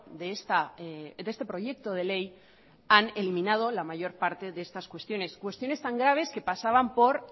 de este proyecto de ley han eliminado la mayor parte de estas cuestiones cuestiones tan graves que pasaban por